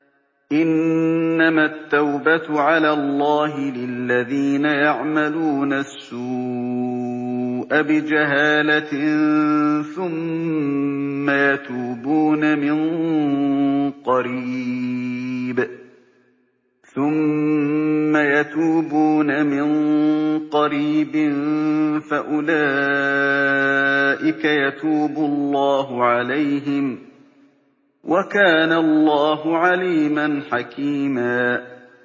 إِنَّمَا التَّوْبَةُ عَلَى اللَّهِ لِلَّذِينَ يَعْمَلُونَ السُّوءَ بِجَهَالَةٍ ثُمَّ يَتُوبُونَ مِن قَرِيبٍ فَأُولَٰئِكَ يَتُوبُ اللَّهُ عَلَيْهِمْ ۗ وَكَانَ اللَّهُ عَلِيمًا حَكِيمًا